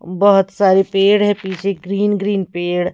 बहुत सारे पेड़ हैं पीछे ग्रीन ग्रीन पेड़--